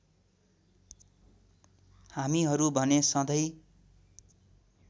हामीहरू भने सधैँ